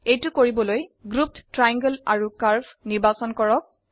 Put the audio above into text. এইতৌ কৰিবলৈ দলবদ্ধ ত্ৰিভুজ আৰু বক্ৰৰাখা নিৰ্বাচন কৰক